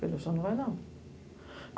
Falei, o senhor não vai não.